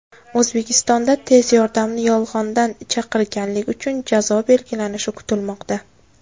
O‘zbekistonda tez yordamni yolg‘ondan chaqirganlik uchun jazo belgilanishi kutilmoqda.